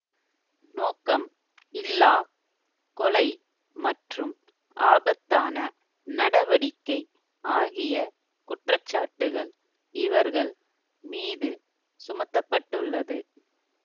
நோக்கம் இல்லா கொலை மற்றும் ஆபத்தான நடவடிக்கை ஆகிய குற்றச்சாட்டுக்கள் இவர்கள் மீது சுமத்த பட்டுள்ளது